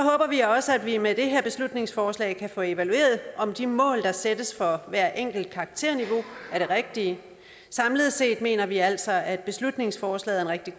vi også at vi med det her beslutningsforslag kan få evalueret om de mål der sættes for hvert enkelt karakterniveau er de rigtige samlet set mener vi altså at beslutningsforslaget er rigtig